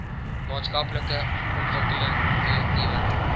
maatskaplike ontwikkeling korrektiewe